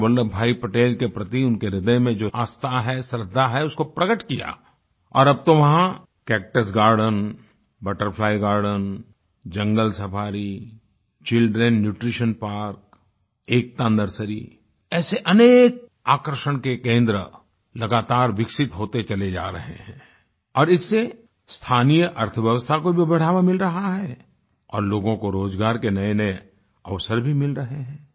सरदार वल्लभभाई पटेल के प्रति उनके ह्रदय में जो आस्था है श्रद्धा है उसको प्रकट किया और अब तो वहाँ cactus garden butterfly garden jungle safari children nutrition park Ekta nursery ऐसे अनेक आकर्षण के केंद्र लगातार विकसित होते चले जा रहे हैं और इससे स्थानीय अर्थव्यवस्था को भी बढ़ावा मिल रहा है और लोगों को रोज़गार के नएनए अवसर भी मिल रहे हैं